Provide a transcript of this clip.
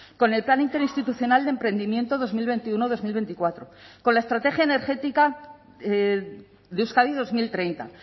con el plan interinstitucional de emprendimiento dos mil veintiuno dos mil veinticuatro con la estrategia energética de euskadi dos mil treinta